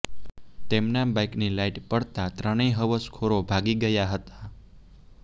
તેમના બાઇકની લાઇટ પડતાં ત્રણેય હવસખોરો ભાગી ગયા હતા